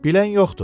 Bilən yoxdur.